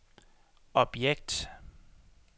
objekt